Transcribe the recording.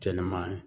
Kɛnɛma